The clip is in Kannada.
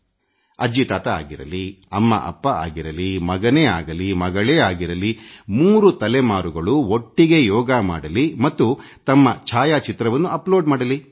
ಅಜ್ಜಿ ತಾತ ಆಗಿರಲಿ ಅಮ್ಮಅಪ್ಪ ಆಗಿರಲಿ ಮಗನೇ ಆಗಲಿ ಮಗಳೇ ಆಗಿರಲಿ 3 ತಲೆಮಾರುಗಳು ಒಟ್ಟಿಗೇ ಯೋಗ ಮಾಡಲಿ ಮತ್ತು ತಮ್ಮ ಛಾಯಾಚಿತ್ರವನ್ನು ಅಪ್ಲೋಡ್ ಮಾಡಲಿ